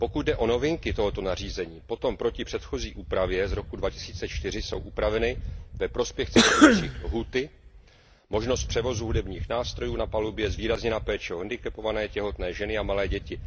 Pokud jde o novinky tohoto nařízení, potom proti předchozí úpravě z roku 2004 jsou upraveny ve prospěch cestujících lhůty, možnost převozu hudebních nástrojů na palubě, posílena péče o handicapované, těhotné ženy a malé děti.